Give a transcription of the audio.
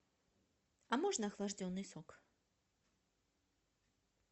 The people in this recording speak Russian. а можно охлажденный сок